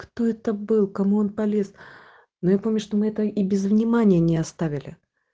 кто это был кому он полез ну я помню что мы это и без внимания не оставили